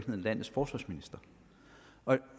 landets forsvarsminister og